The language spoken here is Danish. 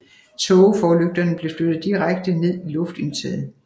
Tågeforlygterne blev flyttet direkte ned i luftindtaget